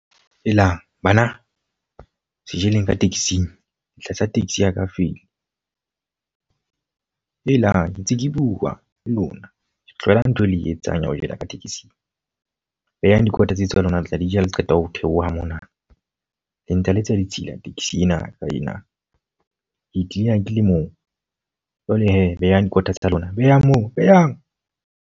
Helang! Bana se jeleng ka taxi-ng, le tlasa taxi ya ka feil. Helang! Ntse ke bua le lona, ke tlohela ntho e le e etsang ya ho jella ka tekesing. Behang dikota tse tsa lona, le tla di ja ha le qeta ho theoha mona. Le ntse le etsa ditshila taxi ena ya ka ena. Ke e cleaner ke le moo jwale he, behang dikota tsa lona, behang moo behang.